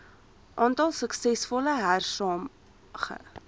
aantal suksesvolle hersaamge